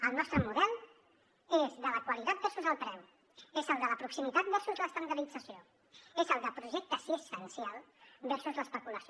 el nostre model és el de la qualitat versus el preu és el de la proximitat versus l’estandardització és el de projecte assistencial versus l’especulació